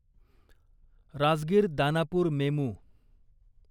Rajgir Danapur MEMU